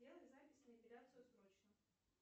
сделай запись на эпиляцию срочно